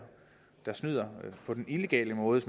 der snyder på den illegale måde